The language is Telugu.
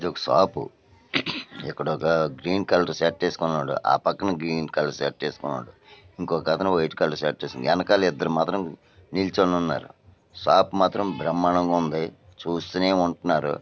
ఇది ఒక షాపు ఇక్కడ ఒక గ్రీన్ కలర్ షర్ట్ ఎసుకొని ఉన్నాడు ఆ పక్కన గ్రీన్ కలర్ షర్ట్ ఏసుకొని ఉన్నాడు ఇంకోక అతను వైట్ కలర్ షర్ట్ ఏసుకొని ఎనాకల ఇద్దరూ మాత్రం నిల్చోని ఉన్నారు షాప్ మాత్రం బ్రహ్మాండంగా ఉంది చూస్తూనే ఉంటున్నారు.